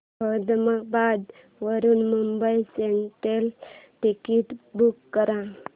अहमदाबाद वरून Mumbai central ticket book कर